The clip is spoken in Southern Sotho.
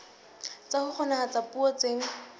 tsa ho kgonahatsa puo tse